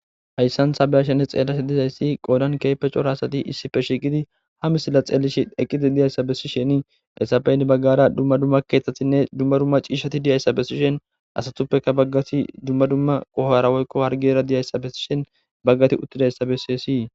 Hayssanthabeyashenne xeellashe dizayssi qoodan keepe cora asati issife shiiqidi hamisila xeellishi eqqidi diyayssa bessisheni esaben baggara dumma dumma keeththatinne dumma dumma ciishati diyayssa bessishen asatuppeka baggati dumma dumma qoharawoykko hargera diyayssa bessishen baggati uttidayssa bessessii.